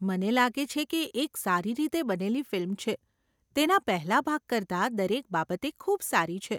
મને લાગે છે કે એક સારી રીતે બનેલી ફિલ્મ છે, તેના પહેલાં ભાગ કરતાં દરેક બાબતે ખૂબ સારી છે.